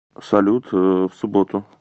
салют в субботу